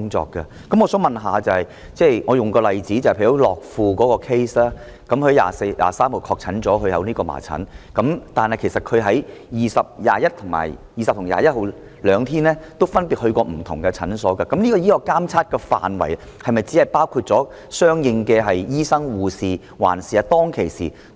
以樂富的個案為例，患者在3月23日確診患上麻疹，但他在20日及21日分別前往不同診所，醫學監測的範圍是否只包括相應的醫生、護士，還是也包括